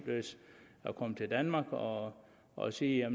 at komme til danmark og og sige jeg